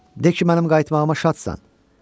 De ki, mənim qayıtmağıma şadsan.